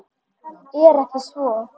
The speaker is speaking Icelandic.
Er ekki svo?